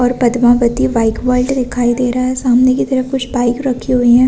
और Padmavati bike world दिखाई दे रहा है सामने की तरफ कुछ बाइक रखी हुई है।